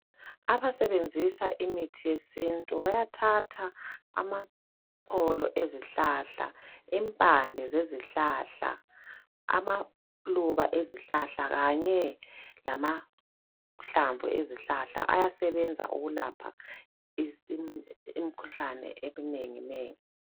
Abasebenzisa imithi yesintu bayathatha amaxolo ezihlahla impande zezihlahla amaluba ezihlahla kanye lamahlamvu ezihlahla ayasebenza ukulapha imikhuhlane eminengi nengi.